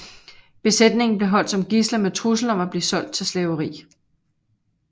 Besætningen blev holdt som gidsler med trussel om at blive solgt til slaveri